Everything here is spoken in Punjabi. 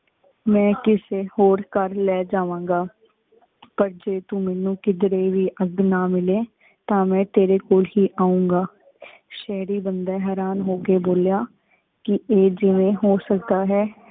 ਮੈਂ ਕਿਸੇ ਹੋਰ ਘਰ ਲੈ ਜਾਵਾਂਗਾਂ ਪਰ ਜੇ ਤੂੰ ਮੈਨੂੰ ਕਿੱਧਰੇ ਵੀ ਅਗ ਨਾ ਮਿਲੇ ਤਾਂ ਮੈਂ ਤੇਰੇ ਕੋਲ ਹੀ ਆਊਂਗਾ। ਸ਼ਹਰੀ ਬੰਦਾ ਹੈਰਾਨ ਹੋ ਕੇ ਬੋਲਿਆ ਕਿ ਏ ਜਿਂਵੇ ਹੋ ਸਕਦਾ ਹੈ